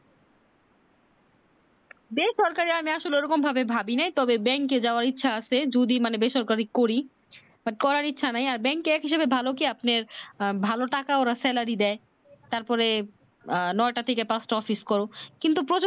বেসরকারি আমি আসলে ওরকম ভাবে ভাবি না তবে bank যাওয়ার ইচ্ছা আছে যদি মানে বেসরকারি করি but করার ইচ্ছা নাই আর bank এ একহিসাবে ভালো কি আপনি ভাল টাকা ওরা salary দেয় তারপরে ন'টা থেকে পাঁচটা অফিস করুক কিন্তু প্রচুর